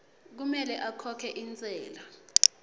kumele akhokhe intsela